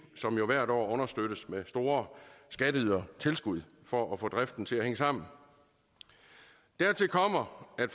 som jo hvert år understøttes med store skatteydertilskud for at få driften til at hænge sammen dertil kommer at